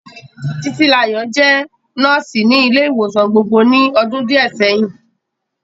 Títílayọ̀ jẹ́ nọ́ọ̀sì ní ilé ìwòsàn gbogbo ní ọdún díẹ̀ sẹ́yìn